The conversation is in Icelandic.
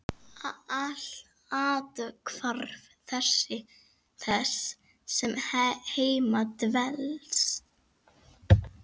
Athvarf þess sem heima dvelst.